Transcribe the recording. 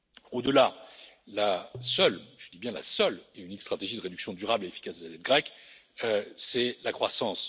Au delà, la seule, et je dis bien la seule et unique stratégie de réduction durable et efficace de la dette grecque, c'est la croissance.